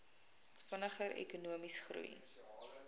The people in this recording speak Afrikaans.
vinniger ekonomiese groei